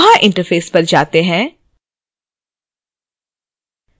koha interface पर जाते हैं